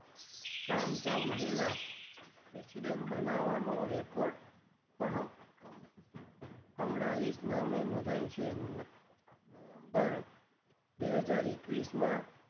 કામ ચાહું મહિલા president બનાવાનો record પણ કમલા હરીશ નામે નોધાયો છે નવેમ્બર બે હજાર એકવીશમાં,